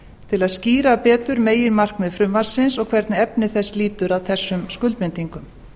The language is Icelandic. til að skýra betur meginmarkmið frumvarpsins og hvernig efni þess lýtur að þessum skuldbindingum